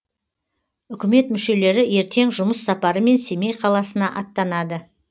үкімет мүшелері ертең жұмыс сапарымен семей қаласына аттанады